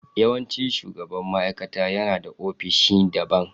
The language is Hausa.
Yawancin shugaban ma'aikata yana da ofishin daban